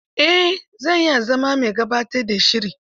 Eh, zan iya zama mai gabatar da shiri.